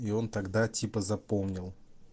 и он тогда типа запомнил